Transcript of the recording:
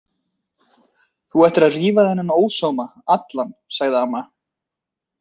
Það ætti að rífa þennan ósóma allan, sagði amma.